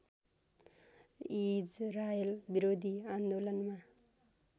Israel विरोधी आन्दोलनमा